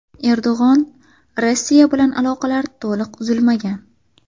Erdo‘g‘on: Rossiya bilan aloqalar to‘liq uzilmagan.